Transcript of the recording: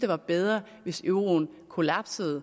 være bedre hvis euroen kollapsede